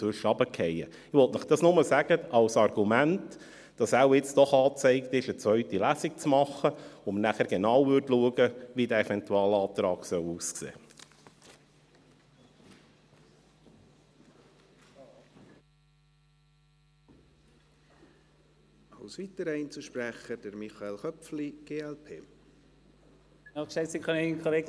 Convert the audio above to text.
Ich will Ihnen dies nur als Argument dafür sagen, dass es jetzt wohl doch angezeigt ist, eine zweite Lesung zu machen, in der wir dann genau schauen würden, wie dieser Eventualantrag aussehen soll.